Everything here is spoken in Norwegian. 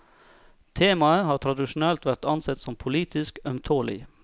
Temaet har tradisjonelt vært ansett som politisk ømtålig.